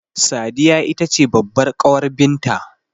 Sadiya itace babbar ƙawar binta